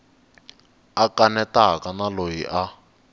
a kanetaka na loyi a